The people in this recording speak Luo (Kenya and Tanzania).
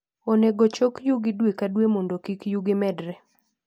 Onego chok yugi dwe ka dwe mondo kik yugi omedre.